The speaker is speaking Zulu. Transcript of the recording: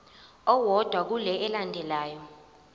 owodwa kule elandelayo